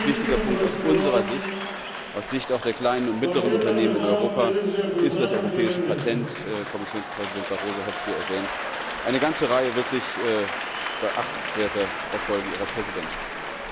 Und dann ein ganz wichtiger Punkt aus unserer Sicht, auch aus Sicht der kleinen und mittleren Unternehmen in Europa, ist das europäische Patent Kommissionspräsident Barroso hat es hier erwähnt. Eine ganze Reihe wirklich beachtenswerter Erfolge Ihrer Präsidentschaft!